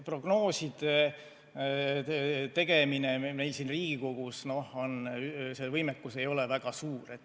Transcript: Prognooside tegemise võimekus meil siin Riigikogus ei ole väga suur.